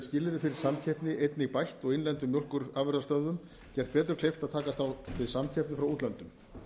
skilyrði fyrir samkeppni einnig bætt og innlendum mjólkurafurðastöðvum gert betur kleift að takast á við samkeppni frá útlöndum